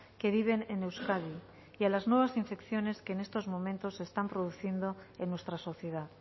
que viven en euskadi y a las nuevas infecciones que en estos momentos se están produciendo en nuestra sociedad